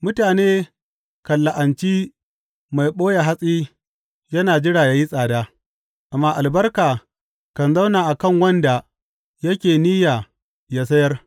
Mutane kan la’anci mai ɓoye hatsi yana jira ya yi tsada, amma albarka kan zauna a kan wanda yake niyya ya sayar.